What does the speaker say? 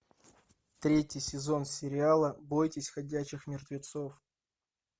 третий сезон сериала бойтесь ходячих мертвецов